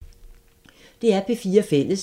DR P4 Fælles